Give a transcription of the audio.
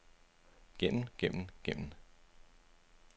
gennem gennem gennem